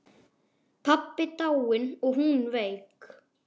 Pabbi dáinn og hún veik.